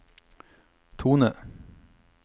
tone